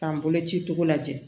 K'an bolo ci cogo lajɛ